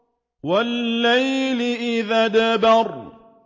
وَاللَّيْلِ إِذْ أَدْبَرَ